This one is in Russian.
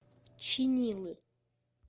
чинилы